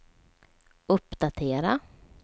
uppdatera